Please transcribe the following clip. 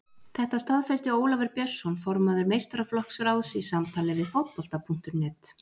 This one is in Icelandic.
Þetta staðfesti Ólafur Björnsson formaður meistaraflokksráðs í samtali við Fótbolta.net.